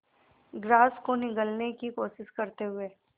grass को निगलने की कोशिश करते हुए